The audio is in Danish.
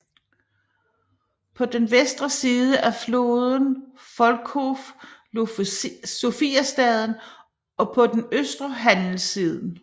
På den vestre side af floden Volkhov lå Sofiastaden og på den østre handelssiden